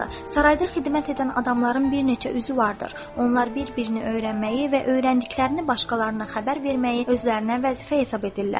Sarayda xidmət edən adamların bir neçə üzü vardır, onlar bir-birini öyrənməyi və öyrəndiklərini başqalarına xəbər verməyi özlərinə vəzifə hesab edirlər.